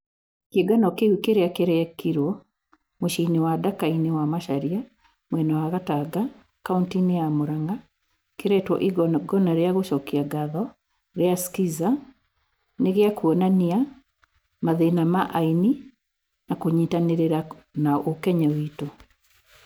Kĩungano kĩu kĩrĩa kĩrekĩruo mũciĩinĩ wa Ndakaini wa Macharia mwena wa Gatanga, kaunti-inĩ ya Murang'a kiretwo igong'ona rĩa gũcokia ngatho ria skiza nĩ giakũonania mathĩna ma aini na kunyitanĩrĩra na ũkenya witu.